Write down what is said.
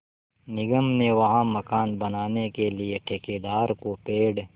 निगम ने वहाँ मकान बनाने के लिए ठेकेदार को पेड़